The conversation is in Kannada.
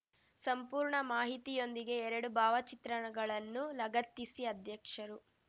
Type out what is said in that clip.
ಸಂಪೂರ್ಣ ಮಾಹಿತಿಯೊಂದಿಗೆ ಎರಡು ಭಾವಚಿತ್ರಗಳನ್ನು ಲಗತ್ತಿಸಿ ಅಧ್ಯಕ್ಷರು